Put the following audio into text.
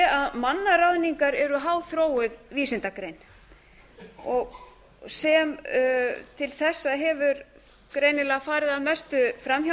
að mannaráðningar eru háþróuð vísindagrein sem til þessa hefur greinilega farið að mestu fram